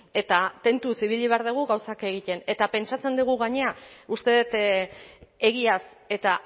eta tentuz ibili behar dugu gauzak egiten eta pentsatzen dugu gainera uste dut egiaz eta